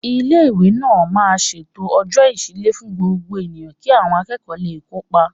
Ilé-ìwé náà máa ń ṣètò Ọ̀jọ́ Ìṣílẹ̀ fún Gbogbo Èèyàn kí àwọn akẹ́kọ̀ọ́ lè kópa